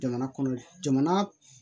Jamana kɔnɔ jamana